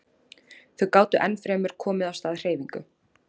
Þau gátu enn fremur komið af stað hreyfingu.